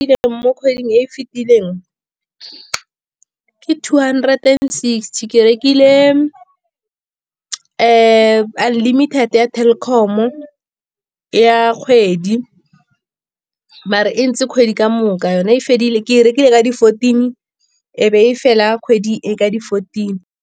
Mo kgweding e fitileng ke two hundred and sixty, ke rekile unlimited ya Telkom ya kgwedi. Mare e ntse kgwedi ka moka, yone e fedile ke rekile ka di-fourteen, e be e fela kgwedi e ka di-fourteen.